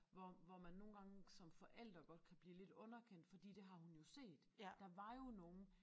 Hvor hvor man nogle gange som forælder godt kan blive lidt underkendt fordi det har hun jo set der var jo nogen